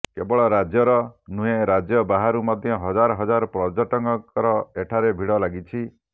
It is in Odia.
କେବଳ ରାଜ୍ୟର ନୁହେଁ ରାଜ୍ୟ ବାହାରୁ ମଧ୍ୟ ହଜାର ହଜାର ପର୍ଯ୍ୟଟକଙ୍କର ଏଠାରେ ଭିଡ ଲାଗିଛି